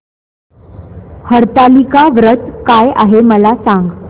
हरतालिका व्रत काय आहे मला सांग